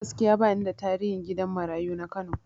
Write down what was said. Gaskiya bani da tarihin gidan marayu na Kano